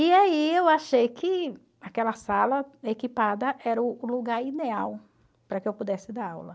E aí eu achei que aquela sala equipada era o lugar ideal para que eu pudesse dar aula.